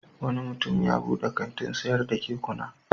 Wani mutum ya buɗe kantin sayar da kekuna.